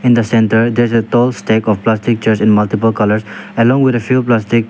in the centre there's a tall stack of plastic chairs in multiple colours along with a few plastic--